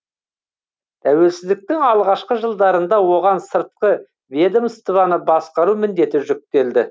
тәуелсіздіктің алғашқы жылдарында оған сыртқы ведомствоны басқару міндеті жүктелді